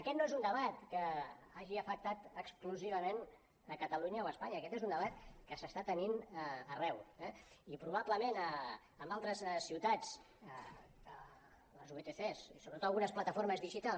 aquest no és un debat que hagi afectat exclusivament catalunya o espanya aquest és un debat que s’està tenint arreu eh i probablement en altres ciutats les vtcs i sobretot algunes plataformes digitals